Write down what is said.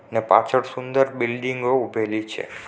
ત્યાં પાછળ સુંદર બિલ્ડીંગો ઊભેલી છે.